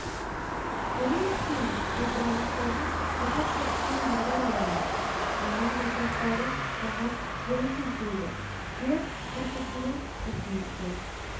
мұның үстіне кейбір ағаштардың бұтақ бітісінен бағдар аламын оның жапырақтары маған жөн сілтейді жер қыртысының қосындысы